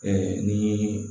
ni